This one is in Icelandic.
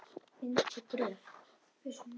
Mynd og gröf